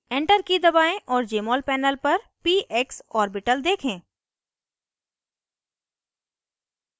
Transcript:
enter की दबाएं और jmol panel पर px orbital देखें